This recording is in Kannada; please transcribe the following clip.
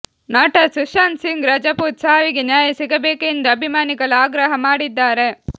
ನಟ ಸುಶಾಂತ್ ಸಿಂಗ್ ರಜಪೂತ್ ಸಾವಿಗೆ ನ್ಯಾಯ ಸಿಗಬೇಕೆಂದು ಅಭಿಮಾನಿಗಳು ಆಗ್ರಹ ಮಾಡಿದ್ದಾರೆ